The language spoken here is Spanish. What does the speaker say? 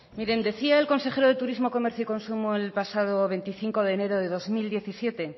miren decía el consejero de turismo comercio y consumo el pasado veinticinco de enero de dos mil diecisiete